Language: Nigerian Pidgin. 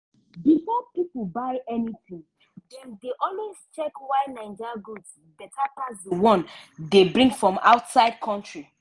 before pipo buy anything dem dey always check why naija goods beta pass d one dey bring from outside country.